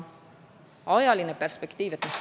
Ajaline perspektiiv.